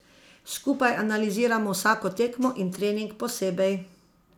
Skupaj analiziramo vsako tekmo in trening posebej.